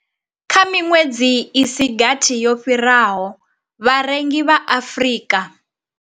Kha miṅwedzi i si gathi yo fhiraho, vharengi vha Afrika.